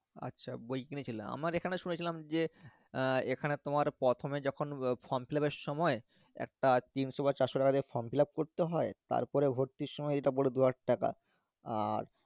আচ্ছা বই কিনেছিলে আমার এখানে শুনেছিলাম যে আহ এখানে তোমার প্রথমে যখন form fillup এর সময় একটা চারশো টাকা দিয়ে form fillup করতে হয় তারপরে ভর্তির সময় যেতে বললো দুহাজার টাকা আর